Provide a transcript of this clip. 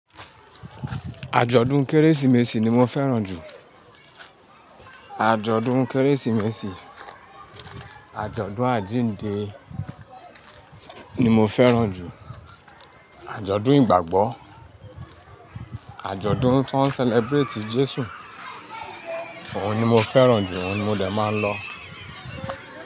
Àjọ̀dún kérésìmesì ni mo fẹ́ràn jù. Àjọ̀dún kérésìmesì, àjọ̀dún àjíǹde ni mo fẹ́ràn jù, àjọ̀dún ìgbàgbọ́, àjọ̀dún ti woń celebrate Jésù, òhun ni mo fẹ́ràn jù, òhun ni mo dè máa ń lọ.